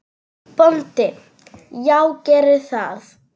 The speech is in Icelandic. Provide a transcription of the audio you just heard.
BÓNDI: Já, gerið það.